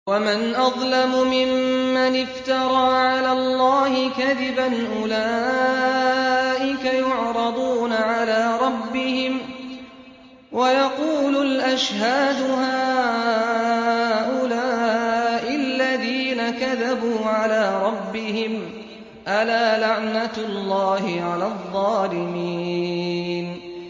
وَمَنْ أَظْلَمُ مِمَّنِ افْتَرَىٰ عَلَى اللَّهِ كَذِبًا ۚ أُولَٰئِكَ يُعْرَضُونَ عَلَىٰ رَبِّهِمْ وَيَقُولُ الْأَشْهَادُ هَٰؤُلَاءِ الَّذِينَ كَذَبُوا عَلَىٰ رَبِّهِمْ ۚ أَلَا لَعْنَةُ اللَّهِ عَلَى الظَّالِمِينَ